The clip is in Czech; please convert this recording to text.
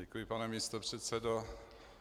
Děkuji, pane místopředsedo.